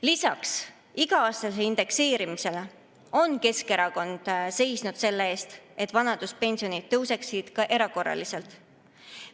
Lisaks iga-aastasele indekseerimisele on Keskerakond seisnud selle eest, et vanaduspensionid tõuseksid ka erakorraliselt.